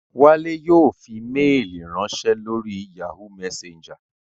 Wálé yóò fi méèlì ránsẹ́ lórí Yahoo messenger